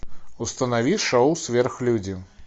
установи шоу сверхлюди